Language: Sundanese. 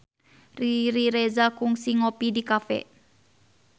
Riri Reza kungsi ngopi di cafe